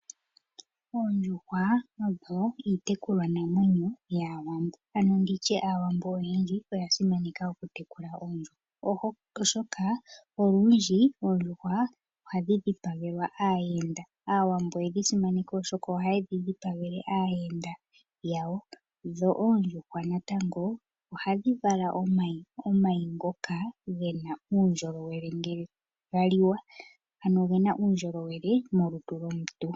Oondjuhwa odho iitekulwa namwenyo yaawambo, aawambo oyendji oyasimana okutekula oondjuhwa, oshoka oondjuhwa ohadhi dhipangelwa aayenda momagumbo dho oondjuhwa natango ohadhi vala omayi ngoka ngena uundjolowele molutu lwomuntu.